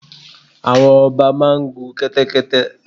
Àwọn ọba máa ń gun kẹ́tẹ́kẹ́tẹ́.